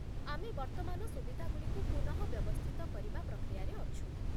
ଆମେ ବର୍ତ୍ତମାନ ସୁବିଧାଗୁଡ଼ିକୁ ପୁନଃବ୍ୟବସ୍ଥିତ କରିବା ପ୍ରକ୍ରିୟାରେ ଅଛୁ